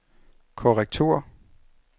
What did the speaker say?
korrektur